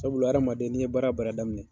Sabula adamaden ni ye baara o baara daminɛ